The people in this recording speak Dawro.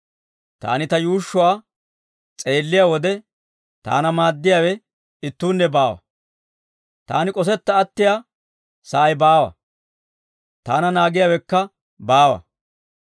Taani ta yuushshuwaa s'eelliyaa wode, taana maaddiyaawe ittuunne baawa; taani k'osetta attiyaa sa'ay baawa; taana naagiyaawekka baawa.